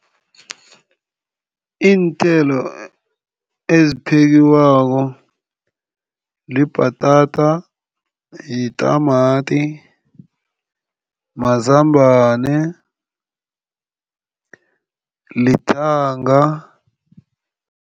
Iinthelo eziphekwako libhatata, yitamati, mazambane, lithanga.